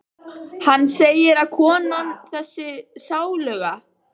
Hann segir að konan- þessi sáluga